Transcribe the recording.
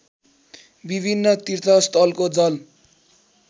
विभिन्न तीर्थस्थलको जल